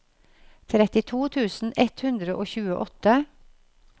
trettito tusen ett hundre og tjueåtte